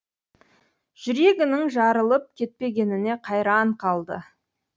жүрегінің жарылып кетпегеніне қайран қалды